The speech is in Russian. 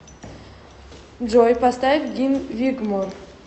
джой поставь гин вигмор